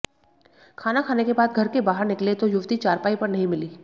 खाना खाने के बाद घर के बाहर निकले तो युवती चारपाई पर नहीं मिली